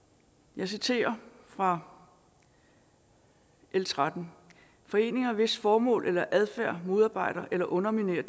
jeg citerer fra l 13 foreninger hvis formål eller adfærd modarbejder eller underminerer